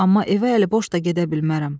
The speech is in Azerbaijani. Amma evə əliboş da gedə bilmərəm.